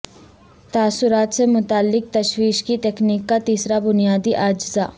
تاثرات سے متعلق تشویش کی تکنیک کا تیسرا بنیادی اجزاء